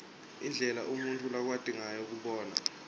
indlela umuntfu lakwati ngayo kubona